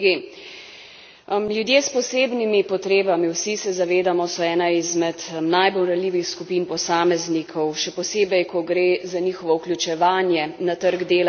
Ljudje s posebnimi potrebami vsi se zavedamo so ena izmed najbolj ranljivih skupin posameznikov, še posebej, ko gre za njihovo vključevanje na trg dela in v družbo nasploh.